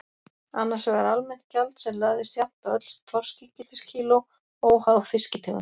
Annars vegar almennt gjald sem lagðist jafnt á öll þorskígildiskíló, óháð fiskitegund.